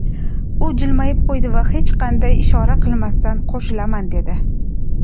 u jilmayib qo‘ydi va hech qanday ishora qilmasdan: "Qo‘shilaman", dedi.